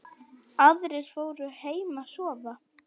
Aðrir fóru heim að sofa.